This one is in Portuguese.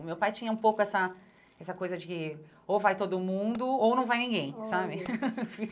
O meu pai tinha um pouco essa essa coisa de que ou vai todo mundo ou não vai ninguém, olha sabe?